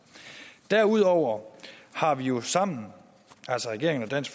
derudover har vi jo sammen altså regeringen og dansk